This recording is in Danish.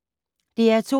DR2